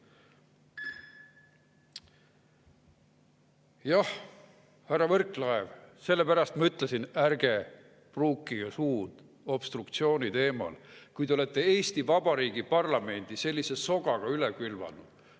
Jah, härra Võrklaev, sellepärast ma ütlesin, ärge pruukige suud obstruktsiooni teemal, kui te olete Eesti Vabariigi parlamendi sellise sogaga üle külvanud.